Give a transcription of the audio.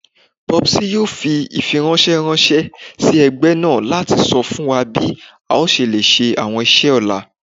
Popsy yoo fi ifiranṣẹ ranṣẹ si ẹgbẹ naa lati sọ fun wa bi a ṣe le ṣe awọn iṣẹ ọla